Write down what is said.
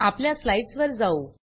आपल्या स्लाइड्स वर जाऊ